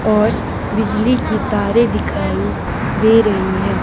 और बिजली की तारे दिखाई दे रही है।